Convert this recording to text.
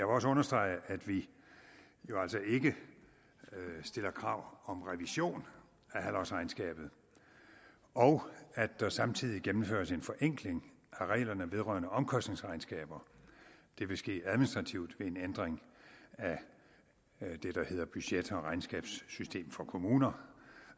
også understrege at vi jo altså ikke stiller krav om revision af halvårsregnskabet og at der samtidig gennemføres en forenkling af reglerne vedrørende omkostningsregnskaber det vil ske administrativt ved en ændring af det der hedder budget og regnskabssystem for kommuner